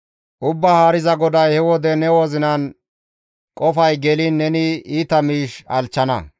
« ‹Ubbaa Haariza GODAY he wode ne kahan qofay geliin neni iita miish halchchana.